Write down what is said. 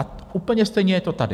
A úplně stejné je to tady.